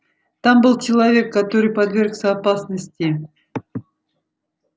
там был человек который подвергся опасности